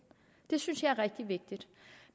det synes jeg er rigtig vigtigt